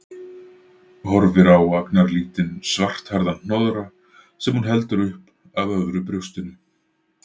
Horfir á agnarlítinn, svarthærðan hnoðra sem hún heldur upp að öðru brjóstinu.